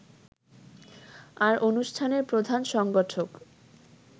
আর অনুষ্ঠানের প্রধান সংগঠক